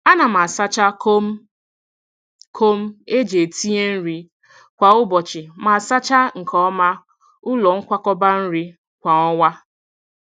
A na m asacha kom kom eji etinye nri kwa ụbọchị ma sachaa nke ọma, ụlọ nkwakọba nri kwa ọnwa.